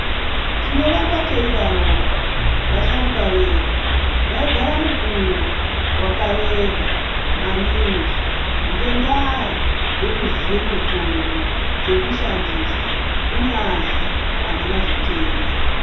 Tinorambe teidaroko ,vasharuka vedu vaigara mukuwo wakareba maningi ngendaa yekuziya mitombo dzekushandisa ,kunyazi avana zvitenda.